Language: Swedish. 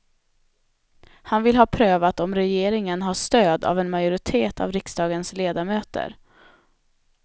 Han vill ha prövat om regeringen har stöd av en majoritet av riksdagens ledamöter.